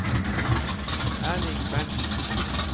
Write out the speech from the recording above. Erling Berntzen